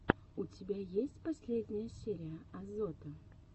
у тебя есть последняя серия азота